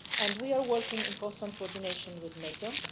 We are working in constant coordination with NATO